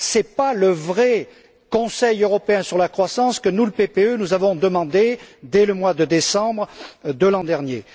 Ce n'est pas le vrai Conseil européen sur la croissance que nous, au sein du PPE, avons demandé dès le mois de décembre de l'an dernier.